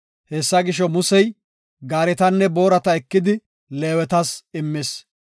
Hessa gisho, Musey gaaretanne boorata ekidi Leewetas immis.